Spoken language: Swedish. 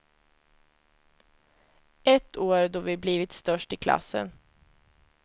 Ett år då vi blivit störst i klassen.